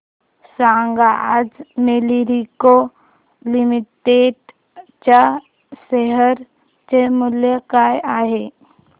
सांगा आज मॅरिको लिमिटेड च्या शेअर चे मूल्य काय आहे